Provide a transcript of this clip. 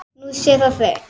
Nú sé það breytt.